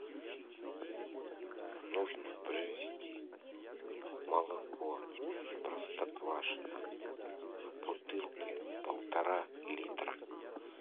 нужно привезти молоко простоквашино в бутылке полтора литра